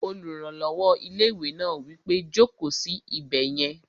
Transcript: Olùrànlọ́wọ́ ilé-ìwé náà wí pé, "Jòkó sí ibẹ̀ yẹn!"